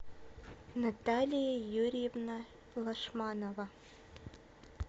наталья юрьевна лашманова